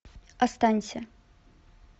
останься